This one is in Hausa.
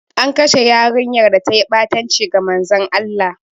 An kashe yarinyar da ta yi ɓatanci ga Manzon Allah.